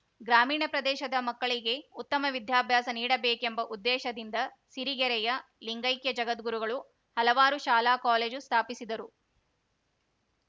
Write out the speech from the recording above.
ಗ್ರಾಮೀಣ ಪ್ರದೇಶದ ಮಕ್ಕಳಿಗೆ ಉತ್ತಮ ವಿದ್ಯಾಭ್ಯಾಸ ನೀಡಬೇಕೆಂಬ ಉದ್ದೇಶದಿಂದ ಸಿರಿಗೆರೆಯ ಲಿಂಗೈಕೈ ಜಗದ್ಗುರುಗಳು ಹಲವಾರು ಶಾಲಾ ಕಾಲೇಜು ಸ್ಥಾಪಿಸಿದರು